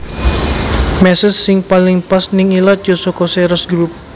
Meses sing paling pas ning ilat yo soko Ceres Group